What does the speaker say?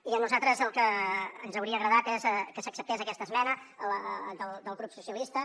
i a nosaltres el que ens hauria agradat és que s’acceptés aquesta esmena del grup socialistes